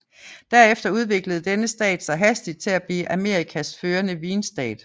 Derefter udviklede denne stat sig hastigt til at blive Amerikas førende vinstat